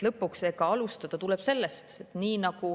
Eks alustada tuleb sellest.